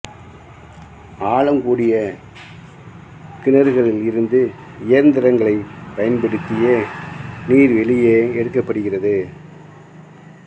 ஆழம் கூடிய கிணறுகளில் இருந்து இயந்திரங்களைப் பயன்படுத்தியே நீர் வெளியே எடுக்கப்படுகிறது